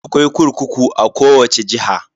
Akwai kurkuku a kowace jiha.